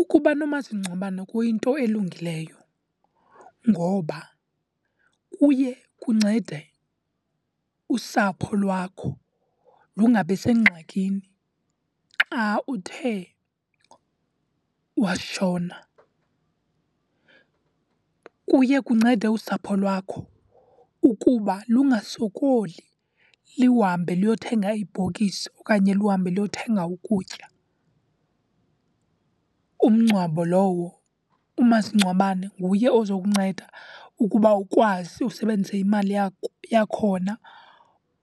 Ukuba nomasingcwabane kuyinto elungileyo ngoba kuye kuncede usapho lwakho lungabi sengxakini xa uthe washona. Kuye kuncede usapho lwakho ukuba lungasokoli, liwuhambe liyothenga ibhokisi okanye luhambe luyothenga ukutya. Umngcwabo lowo umasingcwabane nguye ozawukunceda ukuba ukwazi usebenzise imali yakho yakhona